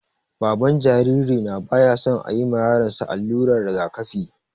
Baban jaririna baya son ayi ma yaron sa allurar rigakafi